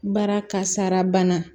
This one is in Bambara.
Baara kasara bana